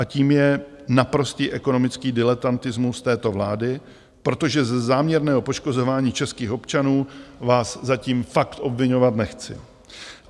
A tím je naprostý ekonomický diletantismus této vlády, protože ze záměrného poškozování českých občanů vás zatím fakt obviňovat nechci.